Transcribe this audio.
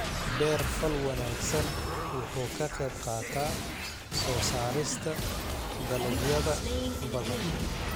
Beer-fal wanaagsan wuxuu ka qayb qaataa soo saarista dalagyada badan.